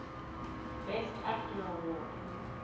best actor award